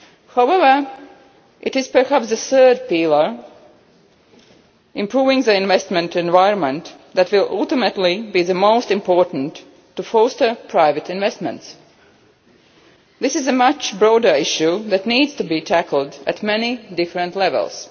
However, it is perhaps the third pillar improving the investment environment that will ultimately be the most important in terms of fostering private investments. This is a much broader issue that needs to be tackled at many different levels.